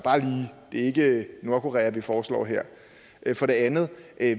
ikke nordkorea vi foreslår her for det andet